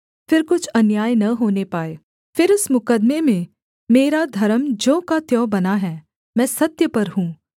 फिर कुछ अन्याय न होने पाए फिर इस मुकद्दमे में मेरा धर्म ज्यों का त्यों बना है मैं सत्य पर हूँ